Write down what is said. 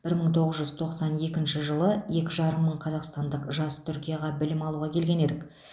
бір мың тоғыз жүз тоқсан екінші жылы екі жарым мың қазақстандық жас түркияға білім алуға келген едік